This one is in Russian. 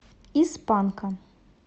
из панка